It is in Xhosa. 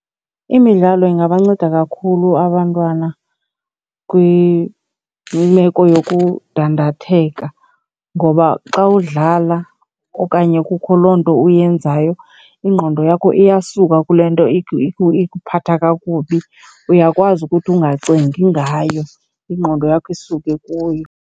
Imidlalo ingabanceda kakhulu abantwana kwimeko yokundandatheka ngoba xa udlala okanye kukho loo nto uyenzayo, ingqondo yakho iyasuka kule nto ikuphatha kakubi. Uyakwazi ukuthi ungacingi ngayo ingqondo yakho isuke kuyo.